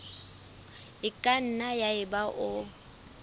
e ka nna yaba o